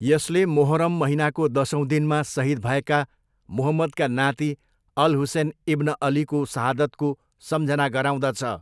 यसले मोहरम महिनाको दसौँ दिनमा सहिद भएका मुहम्मदका नाति अल हुसेन इब्न अलीको सहादतको सम्झना गराउँदछ।